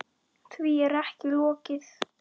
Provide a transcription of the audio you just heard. Því er ekki lokið.